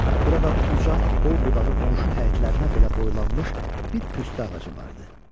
Burada uca, qol-budağı qonşu həyətlərinə belə boylanmış bir püstə ağacı vardı.